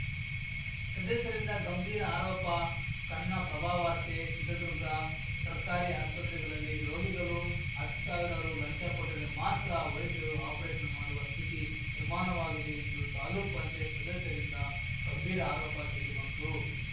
ಸದಸ್ಯರಿಂದ ಗಂಭೀರ ಆರೋಪ ಕನ್ನಪ್ರಭವಾರ್ತೆ ಚಿತ್ರದುರ್ಗ ಸರ್ಕಾರಿ ಆಸ್ಪತ್ರೆಗಲಲ್ಲಿ ರೋಗಿಗಲು ಹತ್ತು ಸಾವಿರ ರು ಲಂಚ ಕೊಟ್ಟರೆ ಮಾತ್ರ ವೈದ್ಯರು ಆಪರೇಷನ್‌ ಮಾಡುವ ಸ್ಥಿತಿ ನಿರ್ಮಾಣವಾಗಿದೆ ಎಂದು ತಾಲ್ಲೂಕ್ ಪಂಚಾಯ್ತಿ ಸದಸ್ಯರಿಂದ ಗಂಭೀರ ಆರೋಪ ಕೇಲಿಬಂತು